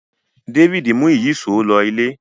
Davidi mú Ìyíṣòó ló ilé